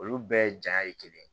Olu bɛɛ jaɲa ye kelen ye